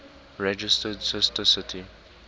registered sister city